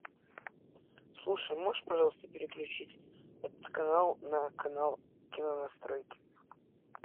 слушай можешь пожалуйста переключить этот канал на канал кинонастройки